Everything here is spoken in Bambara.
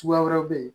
Suguya wɛrɛw be yen